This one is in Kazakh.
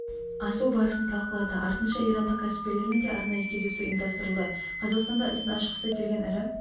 асу барысын талқылады артынша ирандық кәсіпкерлермен де арнайы кездесу ұйымдастырылды қазақстанда ісін ашқысы келген ірі